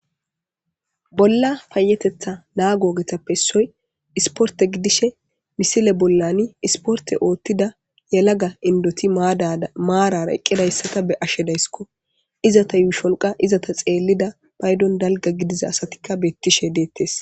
bolla payetetha naagogetappe issoy isporte gidishe misile bollani isporte oottida yalaga indoti daamaarara eqqidayssata be ashshe dayskko izata yuusholqa izata xeellida paydon dalga gidiza asatikka beettishe deettes